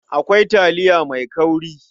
Akwai taliya mai kauri.